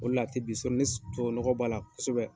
O le la a tɛ ni nɔgɔ b'a la kosɛbɛ.